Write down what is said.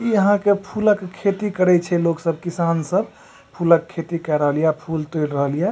ई यहाँ के फूला के खेती करई छे लोग सब किसान सब फूला के खेती कर रहलिए अ फूल तुड़ रहलिए।